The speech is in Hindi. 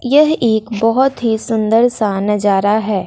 यह एक बहुत ही सुंदर सा नजारा है।